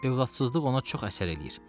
Övladsızlıq ona çox əsər eləyir.